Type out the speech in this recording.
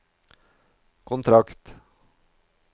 kontrakt